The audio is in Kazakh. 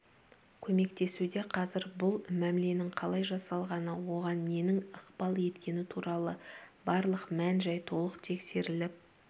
көмектесуде қазір бұл мәміленің қалай жасалғаны оған ненің ықпал еткені туралы барлық мән-жай толық тексеріліп